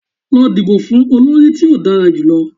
Lọ dibo fun olori ti o dara julọ!